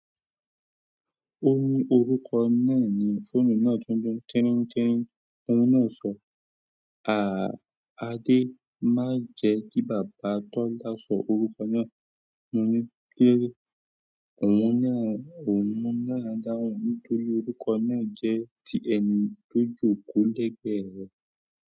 Ó ní orúkọ náà ni fóònù náà tuntun tẹ́ríntẹ́rín. Òun náà sọ, "Àádé, má jẹ kí Bàbá Tọ́lá sọ orúkọ náà." Mo ní kilode, òun náà dáhùn nítorí orúkọ náà jẹ́ ti ẹni tó jòkó lẹ́gbẹ̀ẹ́ rẹ̀.